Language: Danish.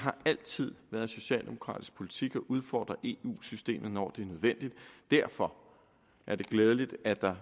altid været socialdemokratisk politik at udfordre eu systemet når det var nødvendigt derfor er det glædeligt at der